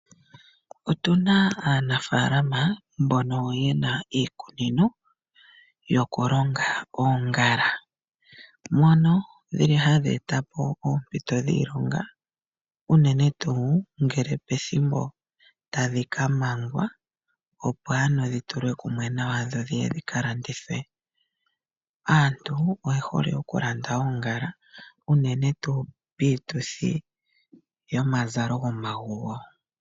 Otu na aanafaalama mbono ye na iikunino yokulonga oongala, mono dhi li hadhi vulu oku eta po oompito dhiilonga unene tuu tadhi ka mangwa, opo ano dhi tulwe kumwe nawa dho dhi ye dhi ka landithwe. Aantu oye hole okulanda oongala, unene tuu piituthi yomazalo gomaguwo.